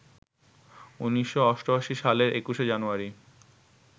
১৯৮৮ সালের ২১ জানুয়ারি